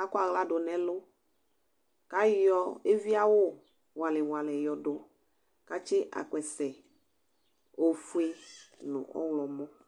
akɔ aɣla dʋ nʋ ɛlʋ kʋ ayɔ eviawʋ ŋuali ŋuali yɔdʋ kʋ atsi akpɛse efue nʋ ɔwlɔmɔ